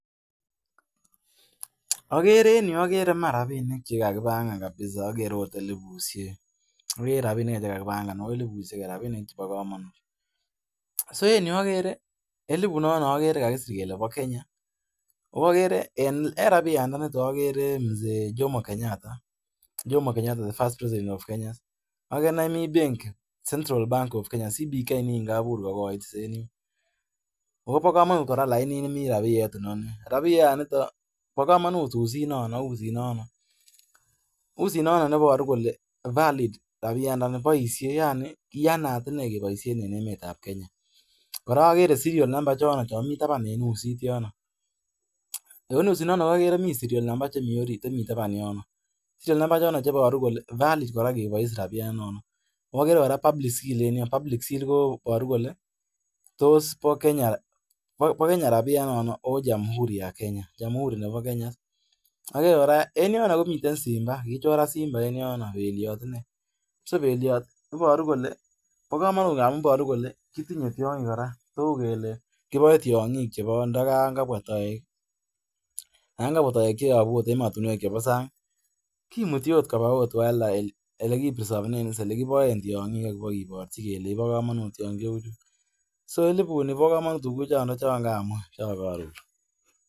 Mi rabinik che kage panganu. Rabinik chebo kamanut. Eliput ni, kagesir kole ba Kenya. En rabishek chu agere Mzee Jomo Kenyatta, the first President of Kenya . Ago mi benki, Central Bank of Kenya nikagobur kogoit en yu. Pa kamanut lainit ne mi rapiyet. Uzi nemi en rabiyenoto boru kole valid.